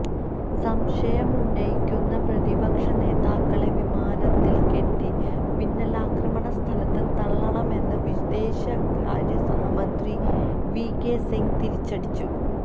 സംശയമുന്നയിക്കുന്ന പ്രതിപക്ഷ നേതാക്കളെ വിമാനത്തില് കെട്ടി മിന്നലാക്രണ സ്ഥലത്ത് തള്ളണമെന്ന് വിദേശകാര്യസഹമന്ത്രി വി കെ സിംഗ് തിരിച്ചടിച്ചു